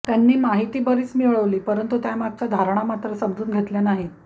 त्यानी माहिती बरीच मिळवली परंतू त्यामागच्या धारणा मात्र समजून घेतल्या नाही